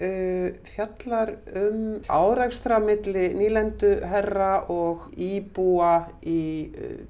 fjallar um árekstra milli nýlenduherra og íbúa í